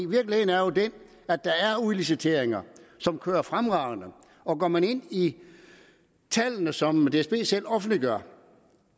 virkeligheden er jo den at der er udliciteringer som kører fremragende går man ind i tallene som dsb selv offentliggør